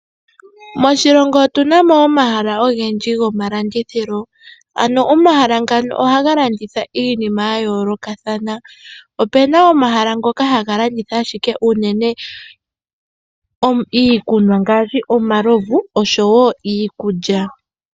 Moshilongo otunamo omahala ogendji gomalandithilo ano omahala ngano ohaga landitha iinima yayoolokathana opena omahala ngoka haga landitha ashike uunene iikunwa ngaashi omalovu osho woo iikulya.